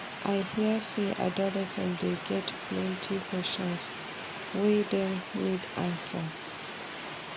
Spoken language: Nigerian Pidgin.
I hear sey adolescents dey get plenty questions wey dem need answers.